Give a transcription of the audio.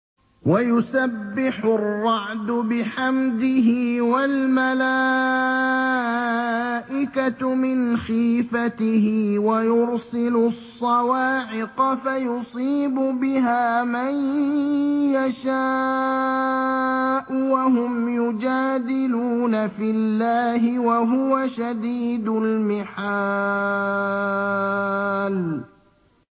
وَيُسَبِّحُ الرَّعْدُ بِحَمْدِهِ وَالْمَلَائِكَةُ مِنْ خِيفَتِهِ وَيُرْسِلُ الصَّوَاعِقَ فَيُصِيبُ بِهَا مَن يَشَاءُ وَهُمْ يُجَادِلُونَ فِي اللَّهِ وَهُوَ شَدِيدُ الْمِحَالِ